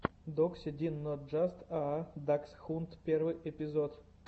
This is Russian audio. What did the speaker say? докси дин нот джаст аа даксхунд первый эпизод